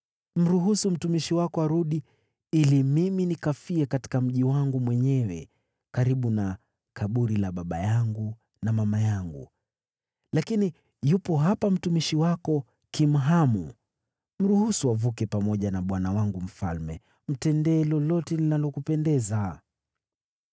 Mruhusu mtumishi wako arudi, ili mimi nikafie katika mji wangu mwenyewe karibu na kaburi la baba yangu na mama yangu. Lakini yupo hapa mtumishi wako Kimhamu. Mruhusu avuke pamoja na bwana wangu mfalme. Mtendee lolote linalokupendeza.”